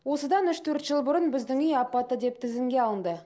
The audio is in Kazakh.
осыдан үш төрт жыл бұрын біздің үй апатты деп тізімге алынды